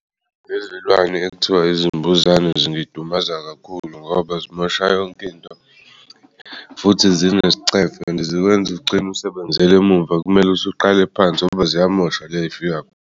Lezilwane ekuthiwa izimbuzane zingidumaza kakhulu ngoba zimosha yonk'into futhi zinesicefe. Zikwenz'ugcin'usebenzel'muva kumele uqale phansi ngoba ziyamosha .